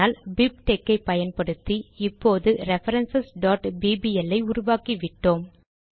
ஆனால் பிப்டெக்ஸ் ஐ பயன்படுத்தி இப்போது ரெஃபரன்ஸ் bbl ஐ உருவாக்கிவிட்டோம்